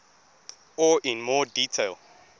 or in more detail